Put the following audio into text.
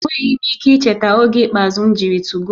Enweghị m ike icheta oge ikpeazụ m jiri 2go